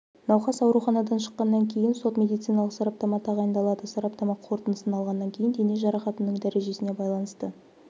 науқас ауруханадан шыққанан кейін сот медициналық сараптама тағайындалады сараптама қорытындысын алғаннан кейін дене жарақатының дәрежесіне байланысты